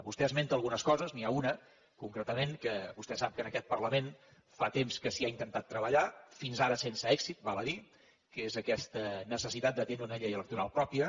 vostè esmenta algunes coses n’hi ha una concretament que vostè sap que en aquest parlament fa temps que s’hi ha intentat treballar fins ara sense èxit val a dir ho que és aquesta necessitat de tenir una llei electoral pròpia